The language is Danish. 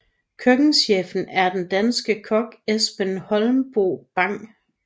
Køkkenchefen er den danske kok Esben Holmboe Bang